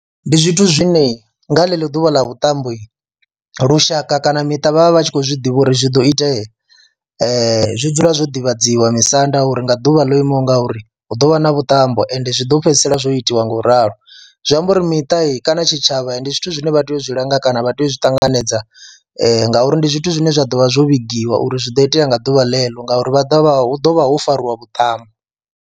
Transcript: Ndi zwithu zwine nga ḽeḽo ḓuvha ḽa vhuṱambo lushaka kana miṱa vha vha vhat shi khou zwi ḓivha uri zwi do itea, zwi dzula zwo ḓivhadziwa misanda uri nga ḓuvha ḽo imaho nga uri hu ḓo vha na vhuṱambo ende zwi ḓo fhedzisela zwo itiwa nga u ralo, zwi amba uri miṱa kana tshitshavha ndi zwithu zwine vha tea u zwi langa kana vha tea u zwi ṱanganedza ngauri ndi zwithu zwine zwa ḓo vha zwo vhigiwa uri zwi do itea nga ḓuvha ḽeḽo ngauri vha ḓo vha hu ḓo vha hu fariwa vhuṱambo.